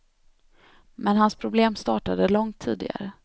Men hans problem startade långt tidigare.